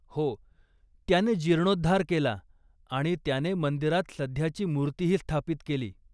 हो त्याने जीर्णोद्धार केला आणि त्याने मंदिरात सध्याची मूर्तीही स्थापित केली.